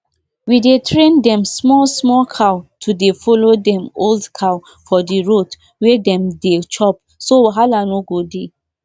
um the rice wey we dey use now um get short stem and e no dey fall for ground even when breeze blow.